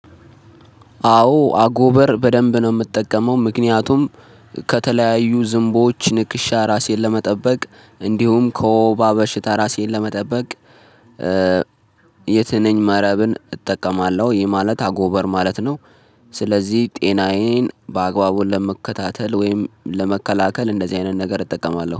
አዎ አጎበር በደንብ ነው የምጠቀመው ምክንያቱም ከተለያዩ ዝንቦዎች ንክሻ ራሴን ለመጠበቅ እንዲሁም ከወባ በሽታ ራሴን ለመጠበቅ የትንኝ መረብን እጠቀማለሁ። ይህ ማለት አጎበር ማለት ነው። ስለዚህ ጤናዬን በአግባቡ ለመከታተል ወይም ለመከላከል እንደዚህ አይነት ነገር እጠቀማለሁ